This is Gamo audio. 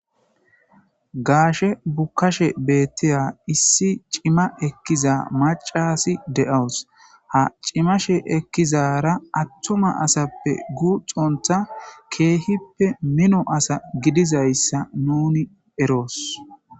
gaashe bukashe beettiya issi cima ekkiza macasi de7awus ha cimashe ekkizara attuma asappe guuxontha keehippe mino asa gidizayssa nuni eroos